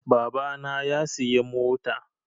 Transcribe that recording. Baba na ya siyi mota